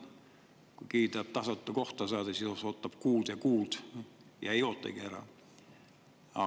Kui keegi tahab tasuta saada, siis ootab kuid ja kuid, ei ära oodata.